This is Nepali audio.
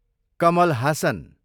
कमल हासन